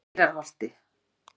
Mýrarholti